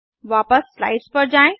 वापस स्लाइड्स पर आएँ